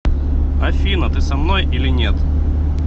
афина ты со мной или нет